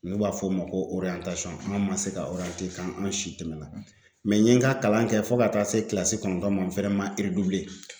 N'u b'a fɔ o ma ko an man se ka ka an si tɛmɛnna n ye n ka kalan kɛ fo ka taa se kilasi kɔnɔntɔn ma n fɛnɛ man